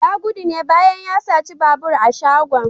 Ya gudu ne bayan ya saci babur a shagon.